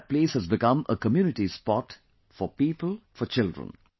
Today that place has become a community spot for people, for children